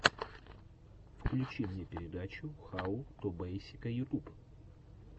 включи мне передача хау ту бейсика ютуб